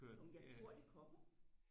Nå men jeg tror det kommer